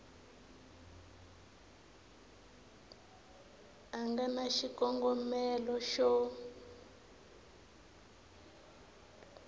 a nga na xikongomelo xo